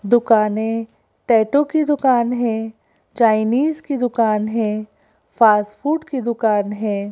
दुकानें टैटू की दुकान है चाइनीज की दुकान है फास्ट फूड की दुकान है।